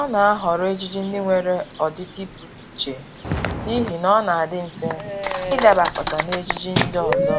Ọ na-ahọrọ ejiji ndị nwere ọdịdị pụrụ iche n'ihi ọ na-adị mfe ịdabakọta n'ejiji ndị ọzọ